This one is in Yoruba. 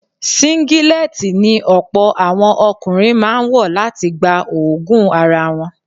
Síngílẹ́tì ni ọ̀pọ̀ àwọn ọkùnrin máa ń wọ̀ láti gba òóguùn ara wọn.